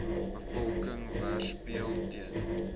bevolking weerspieël ten